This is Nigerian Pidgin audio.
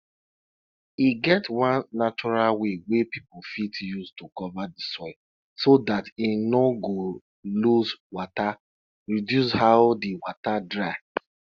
dey kind milk wey animal dey produce fit tell you how de animal dey if dem dey take care of am or not